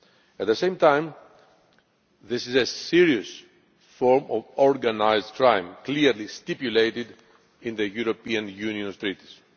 At the same time, this is a serious form of organised crime as clearly stipulated in the European Union's Treaties.